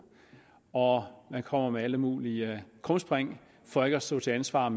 og man kommer med alle mulige krumspring for ikke at stå til ansvar